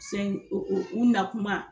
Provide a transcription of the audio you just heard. u na kuma